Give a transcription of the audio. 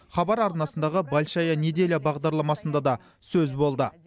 хабар арнасындағы большая неделя бағдарламасында да сөз болды